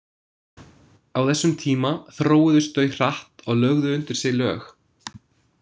Á þessum tíma þróuðust þau hratt og lögðu undir sig lög.